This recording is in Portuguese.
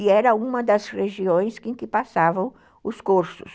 e era uma das regiões em que passavam os cursos.